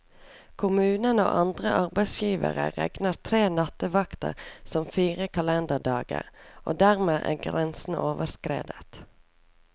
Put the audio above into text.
Kommunen og andre arbeidsgivere regner tre nattevakter som fire kalenderdager, og dermed er grensen overskredet.